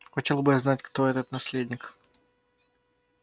хотел бы я знать кто этот наследник